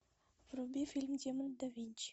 вруби фильм демоны да винчи